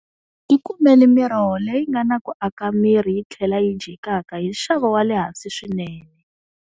Tikumeli miroho leyi nga na ku aka miri yi tlhela yi dyekaka hi nxavo wa le hansi swinene.